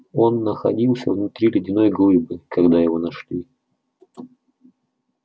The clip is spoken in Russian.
он находился внутри ледяной глыбы когда его нашли